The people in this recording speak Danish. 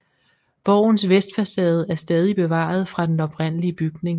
Borgens vestfacade er stadig bevaret fra den oprindelig bygning